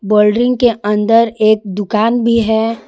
Boundary के अंदर एक दुकान भी है।